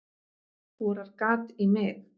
Borar gat í mig.